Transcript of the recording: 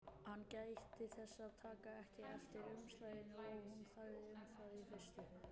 Hann gætti þess að taka ekki eftir umslaginu og hún þagði um það í fyrstu.